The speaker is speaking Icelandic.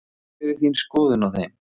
Hver er þín skoðun á þeim?